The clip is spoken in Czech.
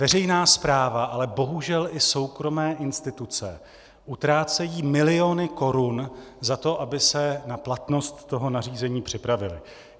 Veřejná správa, ale bohužel i soukromé instituce utrácejí miliony korun za to, aby se na platnost toho nařízení připravily.